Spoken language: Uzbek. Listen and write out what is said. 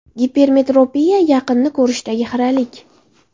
Gipermetropiya: yaqinni ko‘rishdagi xiralik.